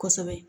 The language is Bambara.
Kosɛbɛ